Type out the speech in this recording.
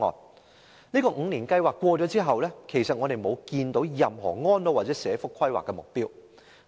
上述方案的5年計劃過去後，政府沒有推出任何安老或社福規劃目標。